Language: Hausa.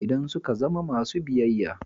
Idan suka zama masu biyayya.